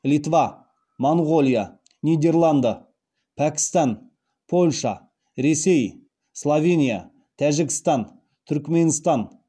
литва моңғолия нидерланды пәкістан польша ресей словения тәжікстан түрікменстан